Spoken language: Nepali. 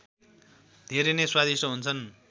धेरै नैं स्वादिष्ट हुन्छन्